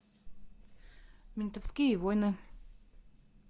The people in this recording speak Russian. ментовские войны